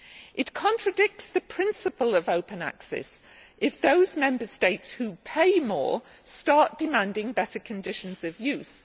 It contradicts the principle of open access if those Member States who pay more start demanding better conditions of use.